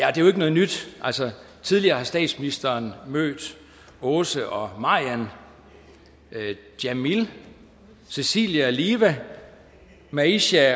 er jo ikke noget nyt altså tidligere har statsministeren mødt åse og marian jamil cecilie og liva maisha og